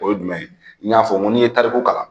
O ye jumɛn ye , n y'a fɔ n go ni ye tariku kalan